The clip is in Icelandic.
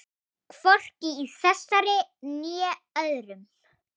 Hvorki í þessari né öðrum.